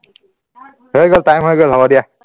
হৈ গল time হৈ গল হব দিয়া